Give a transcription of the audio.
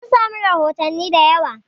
An samu rahotanni da yawa